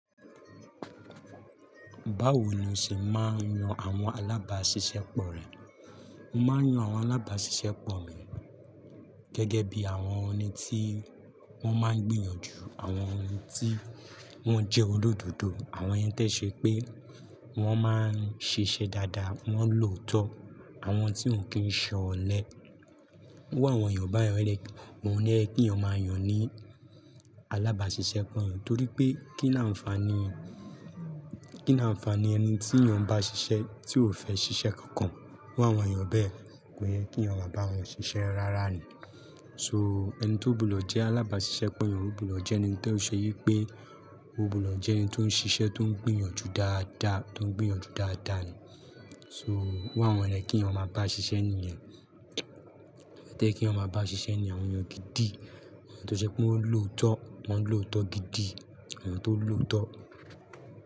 Báwo ni o ṣe máa ń yan àwọn alábàáṣiṣẹ́ pọ̀ rẹ? Mo máa ń yan àwọn alábàáṣiṣẹ́ pọ̀ mi gẹ́gẹ́ bí àwọn ẹni tí wọ́n máa ń gbìyànjú, àwọn ẹni tí wọ́n jẹ́ olódodo, àwọn ẹni tó ṣe pé wọ́n máa ń ṣiṣẹ́ dáadáa, wọ́n lòótọ́, àwọn tí ó kì í ṣọlẹ. Iru àwọn èèyàn báyìí ni, òun lo yẹ kí iyàn máa yàn ni alábàáṣiṣẹ́ pọ̀, torí pé kí ni àǹfààní, kí ni àǹfààní ẹni tí ìyàn bá ṣiṣẹ́ tí ò fẹ́ ṣiṣẹ́ kankan. Iru àwọn èèyàn bẹ́ẹ̀, kò yẹ kí iyán máa bá wọn ṣiṣẹ́ rárá ni. So ẹni tó bù lọ jẹ́ alábàáṣiṣẹ́ pọ̀ ìyàn, ó bù lọ jẹ́ ẹni tó ṣe yí pé ó bù lọ jẹ́ ẹni tó ń ṣiṣẹ́ tó ń gbìyànjú dáadáa, tó ń gbìyànjú dáadáa ni. So irú àwọn èyàn ló yẹ kí iyán máa bá ṣiṣẹ́ nìyen. Tó ye kí iyàn máa bá ṣiṣẹ́ nìyen, àwọn èèyàn gidi, àwọn tó ṣe pé wọ́n lòótọ́, wọ́n lòótọ́ gidi, àwọn tó lòótọ́.